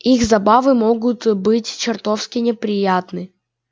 их забавы могут быть чертовски неприятны